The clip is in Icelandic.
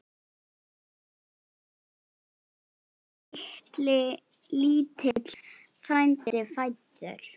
Lítill frændi fæddur.